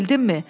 Bildinmi?